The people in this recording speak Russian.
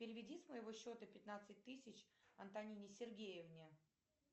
переведи с моего счета пятнадцать тысяч антонине сергеевне